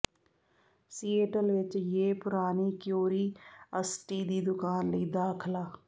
Seattle ਵਿੱਚ ਯੇ ਪੁਰਾਣੀ ਕਿਊਰੀਅਸਟੀ ਦੀ ਦੁਕਾਨ ਲਈ ਦਾਖਲਾ